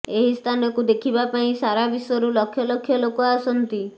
ଏହି ସ୍ଥାନକୁ ଦେଖିବା ପାଇଁ ସାରାବିଶ୍ୱରୁ ଲକ୍ଷ ଲକ୍ଷ ଲୋକ ଆସନ୍ତି